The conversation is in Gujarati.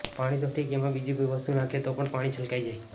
પાણી તો ઠીક એમાં બીજી કોઈ વસ્તુ નાંખીએ તો પણ પાણી છલકાઈ જાય